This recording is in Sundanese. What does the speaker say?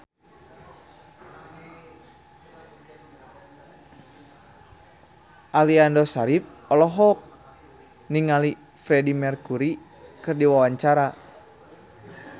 Aliando Syarif olohok ningali Freedie Mercury keur diwawancara